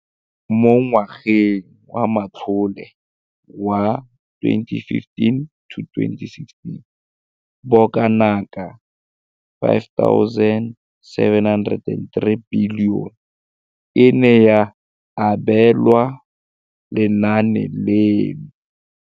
Mo ngwageng wa matlole wa 2015 le 16, bokanaka R5 703 bilione e ne ya abelwa lenaane leno.